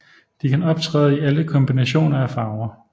De kan optræde i alle kombinationer af farver